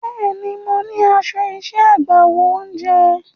Bẹ́ẹ̀ni, mo ní aṣọ iṣẹ́ agbáwo oúnjẹ.